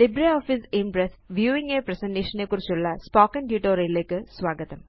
LibreOffice impress viewing a presentation നെക്കുറിച്ചുള്ള spoken tutorial ലേയ്ക്ക് സ്വാഗതം